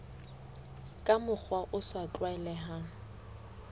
ka mokgwa o sa tlwaelehang